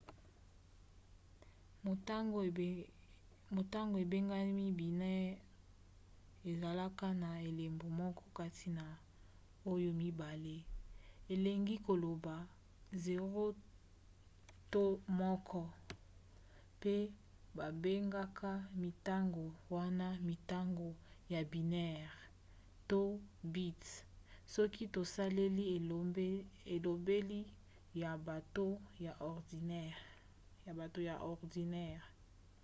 motango ebengami binaire ezalaka na elembo moko kati na oyo mibale elingi koloba 0 to 1 pe babengaka mintango wana mintango ya binaire - to bits soki tosaleli elobeli ya bato ya ordinatere